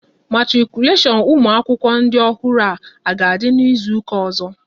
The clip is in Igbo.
Matikuleshon ụmụ akwụkwọ ndị ọhụrụ a ga-adị n'izuka ọzọ?